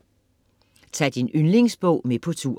Ta' din yndlingsbog med på tur